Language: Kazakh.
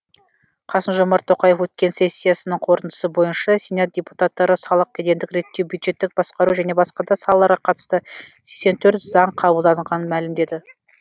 қасым жомарт тоқаев өткен сессиясының қорытындысы бойынша сенат депутаттары салық кедендік реттеу бюджеттік басқару және басқа да салаларға қатысты сексен төрт заң қабылдағанын мәлімдеді